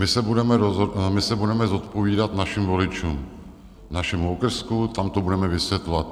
My se budeme zodpovídat našim voličům, našemu okrsku, tam to budeme vysvětlovat.